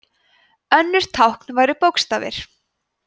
önnur tákn væru bókstafir